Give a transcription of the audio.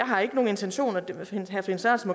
har ikke nogen intentioner herre finn sørensen